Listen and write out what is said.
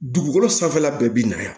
Dugukolo sanfɛla bɛɛ bi na yan